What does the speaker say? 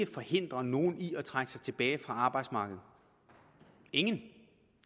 forhindre nogen i at trække sig tilbage fra arbejdsmarkedet ingen det